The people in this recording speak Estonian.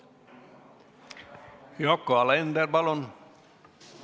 Yoko Alender, palun!